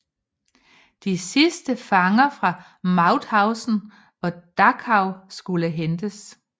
De sidste fanger fra Mauthausen og Dachau skulle hentes